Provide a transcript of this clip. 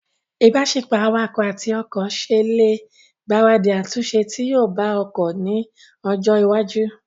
ìbáṣepọ̀ awakọ̀ àti ọkọ̀ ṣe ẹ lè gbaradì àtúnṣe tí yóò bá ọkọ̀ ní ọjọ́ iwájú